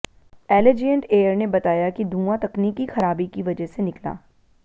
Allegiant Air ने बताया है कि धुआं तकनीकी खराबी की वजह से निकला